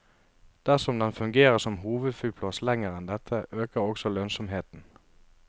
Dersom den fungerer som hovedflyplass lenger enn dette, øker også lønnsomheten.